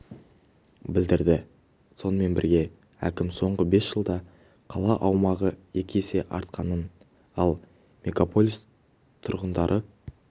білдірді сонымен бірге әкім соңғы бес жылда қала аумағы екі есе артқанын ал мегаполис тұрғындары